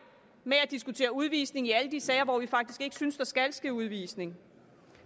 med at diskutere udvisning i alle de sager hvor vi faktisk ikke synes der skal ske udvisning